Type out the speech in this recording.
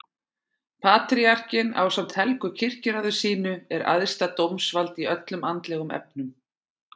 Patríarkinn ásamt helgu kirkjuráði sínu er æðsta dómsvald í öllum andlegum efnum.